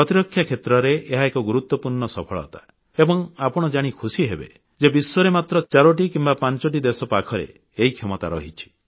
ପ୍ରତିରକ୍ଷା କ୍ଷେତ୍ରରେ ଏହା ଏକ ଗୁରୁତ୍ୱପୂର୍ଣ୍ଣ ସଫଳତା ଏବଂ ଆପଣ ଜାଣି ଖୁସିହେବେ ଯେ ବିଶ୍ୱରେ ମାତ୍ର 4ଟି କିମ୍ବା 5ଟି ଦେଶ ପାଖରେ ଏହି କ୍ଷମତା ରହିଛି